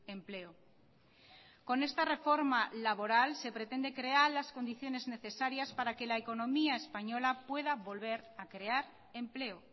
empleo con esta reforma laboral se pretende crear las condiciones necesarias para que la economía española pueda volver a crear empleo